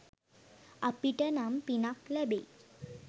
අපිට නම් පිනක් ලැබෙයි